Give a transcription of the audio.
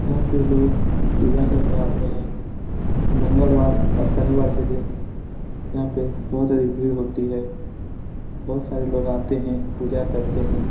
यहां पे लोग पूजा करने आते है। मंगलवार और शनिवार के दिन यहां पे बहुत अधिक भीड़ होती है। बहुत सारे लोग आते है। पूजा करते है।